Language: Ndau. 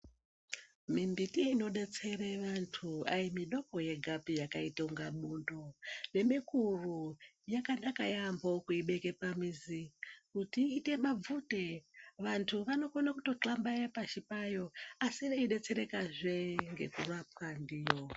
Mimbiti inobetsera vandu ayimbi doko peya yakaita kunge mbundu nemikuru yakanaka yaambo kuibeke pamuzi kuti iite mabvute vandu vanokone kutohlambaya pasi payo asi veyibetsereka zvee ngekurapwa ndiyo.